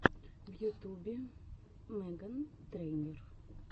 в ютубе меган трейнер